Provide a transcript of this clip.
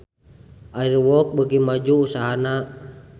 Air Walk beuki maju usahana